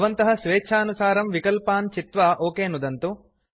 भवन्तः स्वेच्छानुसारं विकल्पान् चित्वा ओक नुदन्तु